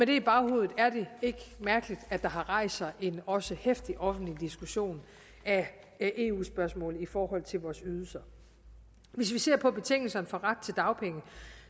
det i baghovedet er det ikke mærkeligt at der har rejst sig en også heftig offentlig diskussion af eu spørgsmålet i forhold til vores ydelser hvis vi ser på betingelserne for ret til dagpenge